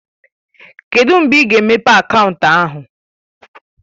Kedụ mgbe ị ga-emepe akaụntụ ahụ?